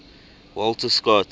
walter scott